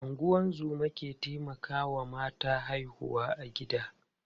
Ungozoma ke taimakawa mata haihuwa a gida.